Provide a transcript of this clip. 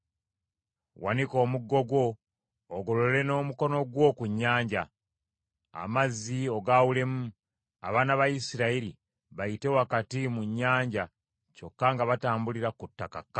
Wanika omuggo gwo, ogolole n’omukono gwo ku nnyanja, amazzi ogaawulemu, abaana ba Isirayiri bayite wakati mu nnyanja kyokka nga batambulira ku ttaka kkalu.